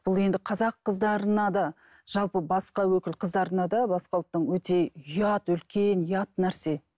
бұл енді қазақ қыздарына да жалпы басқа өкіл қыздарына да басқа ұлттың өте ұят үлкен ұят нәрсе